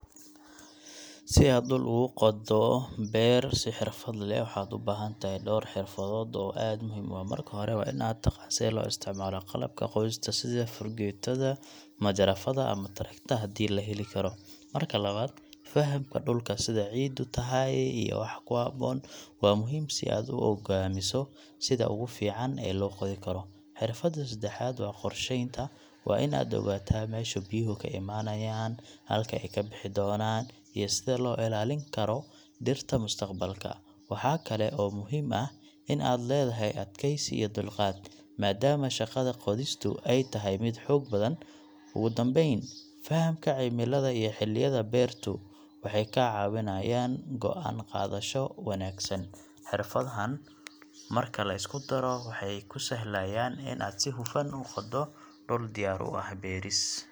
Si aad dhul ugu qoddo beer si xirfad leh, waxaad u baahan tahay dhowr xirfadood oo aad muhiim u ah. Marka hore, waa in aad taqaan sida loo isticmaalo qalabka qodista sida fargeetada, majarafadda ama tractor haddii la heli karo. Marka labaad, fahamka dhulka — sida ciiddu tahay iyo waxa ku habboon — waa muhiim si aad u go'aamiso sida ugu fiican ee loo qodi karo. Xirfadda saddexaad waa qorsheynta; waa in aad ogaataa meesha biyuhu ka imanayaan, halka ay ka bixi doonaan, iyo sida loo ilaalin karo dhirta mustaqbalka. Waxaa kale oo muhiim ah in aad leedahay adkaysi iyo dulqaad, maadaama shaqada qodistu ay tahay mid xoog badan. Ugu dambayn, fahamka cimilada iyo xilliyada beertu waxay kaa caawinayaan go'aan qaadasho wanaagsan. Xirfadahan marka la isku daro waxay kuu sahlayaan in aad si hufan u qoddo dhul u diyaar ah beeris.